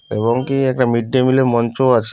এবং কি একটা মিড ডে মিল এর মঞ্চ আছে--